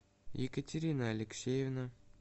екатерина алексеевна